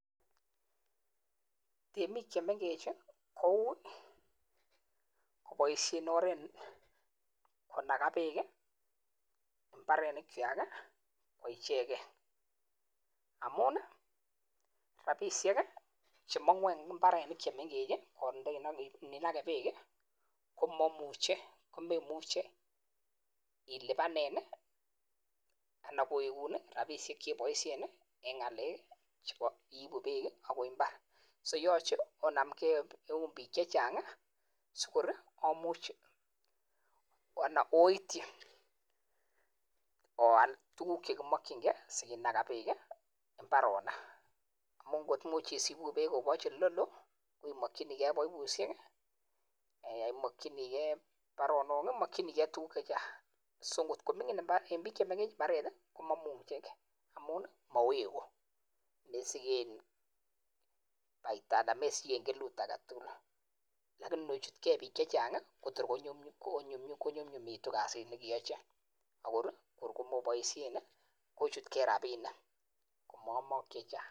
En biik che mengech ko ui koboishen oret konaga beek mbarenikwak koichegen. Amun rabishek che mong'u en mbarenik che mengech ininage beek ko meimuche ilibanen ana kowegun rabishek cheiboishen en ngalekab iibu beek kobwa mbar. So yoche onamge eun biik che chang sikor omuch anan oityi oal tuguk che kimokinge ge sikinaga beek mbaronik. Amun kot imuch isibu beek koboch ele loo imokinige baibushek, imokinige baronok, imokininige tuguk che chang. So en biik chemengech mbaret ko momuche amun mowegu, mesiken faida anan mesiken kelut age tugul. Lakini inochutge biik che chnag kotor konyumnyumitu kasit ne keyochin. Akor komoboishen kochutge rabinik komoomok che chang.